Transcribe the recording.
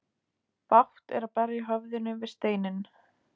Bágt er að berja höfðinu við steinninn.